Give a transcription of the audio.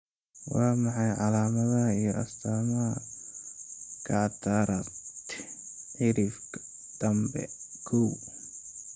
Waa maxay calaamadaha iyo astaamaha cataract, cirifka dambe, koow?